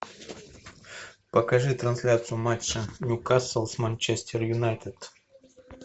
покажи трансляцию матча ньюкасл с манчестер юнайтед